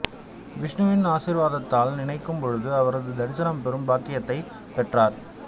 விஷ்ணுவின் ஆசீர்வாதத்தால் நினைக்கும் பொழுது அவரது தரிசனம் பெறும் பாக்கியத்தையும் பெற்றார்